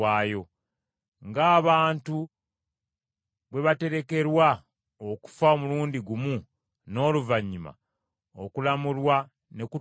Ng’abantu bwe baterekerwa okufa omulundi gumu n’oluvannyuma okulamulwa ne kutuuka,